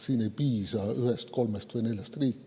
Siin ei piisa ühest, kolmest või neljast riigist.